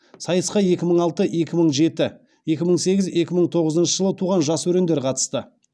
сайысқа екі мың алты екі мың жеті екі мың сегіз екі мың тоғызыншы жылы туған жас өрендер қатысты